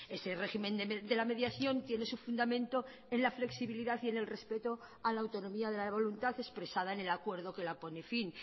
ese régimen de la mediación tiene su fundamento en la flexibilidad y en el respeto a la autonomía de la voluntad expresada en el acuerdo que la pone fin